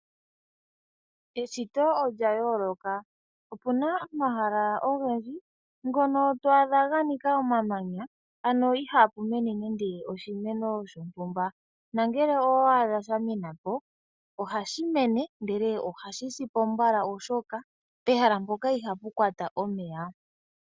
Eshito olya yooloka. Opuna omahala ogendji ngono to a dha ga nika omamanya ano ihaapu mene nande oshimeno shontumba, nongele owa a dha shamena po ohashi mene ihe ohashi si po mbala oshoka pehala mpoka ohapu kwata omeya.